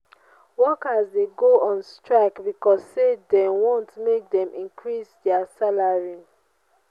workers de go on strike becauae say dem want make dem increase their salary